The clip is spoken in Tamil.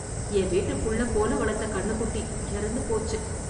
என் வீட்டுல புள்ள போல வளர்த்த கண்ணு குட்டி, இறந்து போச்சு.